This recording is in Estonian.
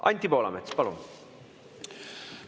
Anti Poolamets, palun!